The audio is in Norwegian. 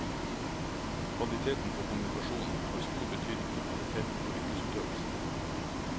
Kvaliteten på kommunikasjonen har stor betydning for kvaliteten på yrkesutøvelsen.